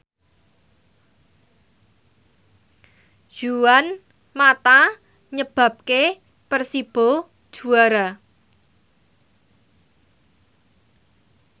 Juan mata nyebabke Persibo juara